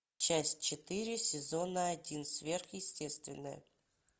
часть четыре сезона один сверхъестественное